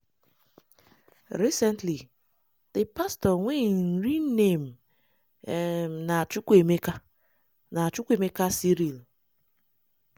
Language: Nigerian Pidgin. recently di pastor wey im real name um na chukwuemeka na chukwuemeka cyril